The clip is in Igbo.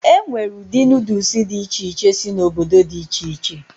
E nwere ụdị Nuudus dị iche iche si n'obodo dị iche iche.